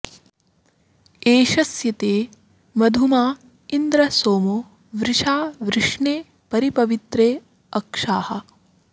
एष स्य ते मधुमाँ इन्द्र सोमो वृषा वृष्णे परि पवित्रे अक्षाः